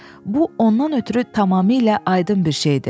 bu, ondan ötrü tamamilə aydın bir şeydir.